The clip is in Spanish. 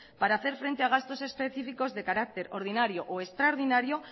para hacer frente a gastos específicos de carácter ordinario o extraordinario